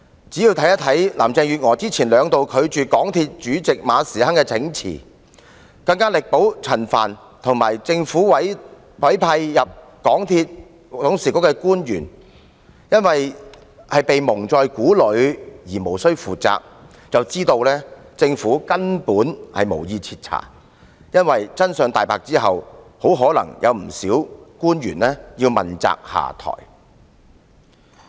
只要看看林鄭月娥之前兩度拒絕港鐵公司主席馬時亨請辭，更力保陳帆和政府委派到港鐵公司董事局的官員——因為他們被蒙在鼓裏便無需負責——便知道政府根本無意徹查，因為真相大白後很可能有不少官員要問責下台。